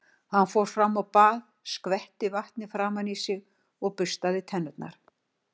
Hann fór fram á bað og skvetti vatni framan í sig og burstaði tennurnar.